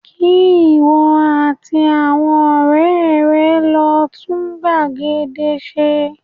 Kí ìwọ àti àwọn ọ̀rẹ́ rẹ lọ tún gbàgede ṣe